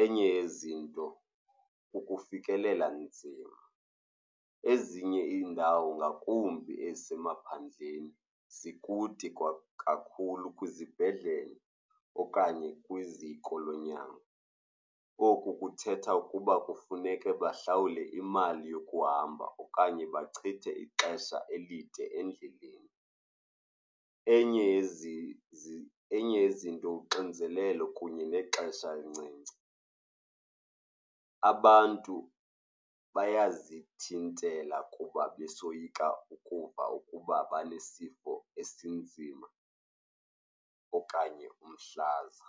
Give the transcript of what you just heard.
Enye yezinto, ukufikelela nzima. Ezinye iindawo ngakumbi ezisemaphandleni zikude kakhulu kwizibhedlele okanye kwiziko lonyango. Oku kuthetha ukuba kufuneke bahlawule imali yokuhamba okanye bachithe ixesha elide endleleni. Enye yezinto uxinzelelo kunye nexesha elincinci, abantu bayazithintela kuba besoyika ukuva ukuba banesifo esinzima okanye umhlaza.